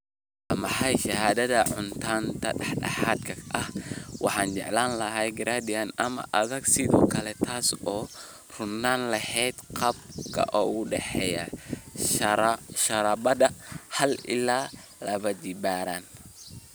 waa maxay shaandhada cufnaanta dhexdhexaadka ah waxaanan jeclaan lahaa gradient ama adag sidoo kale taas oo u roonaan lahayd qaabka u dhexeeya sharoobada hal iyo labajibbaaran.